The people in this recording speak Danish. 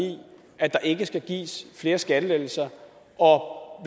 at der ikke skal gives flere skattelettelser og